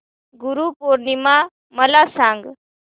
गुरु पौर्णिमा मला सांग